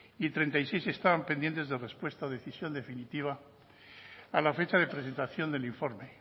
y treinta y seis estaban pendientes de respuesta de decisión definitiva a la fecha de la presentación del informe